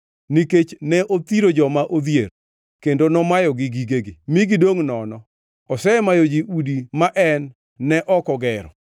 Nikech ne othiro joma odhier, kendo nomayogi gigegi mi gidongʼ nono osemayo ji udi ma en ne ok ogero.